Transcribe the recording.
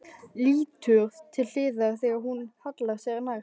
Lítur til hliðar þegar hún hallar sér nær.